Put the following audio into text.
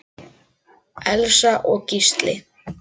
Elsa og Gísli.